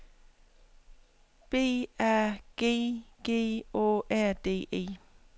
B A G G Å R D E